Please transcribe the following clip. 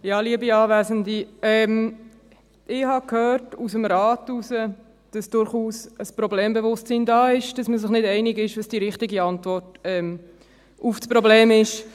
Ich habe gehört aus dem Rat heraus, dass durchaus ein Problembewusstsein da ist, dass man sich nicht einig ist, was die richtige Antwort auf das Problem ist.